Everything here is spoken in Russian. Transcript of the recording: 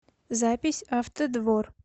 запись автодвор